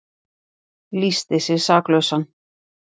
Lýsti sig saklausan